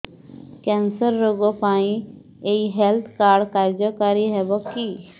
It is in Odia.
କ୍ୟାନ୍ସର ରୋଗ ପାଇଁ ଏଇ ହେଲ୍ଥ କାର୍ଡ କାର୍ଯ୍ୟକାରି ହେବ କି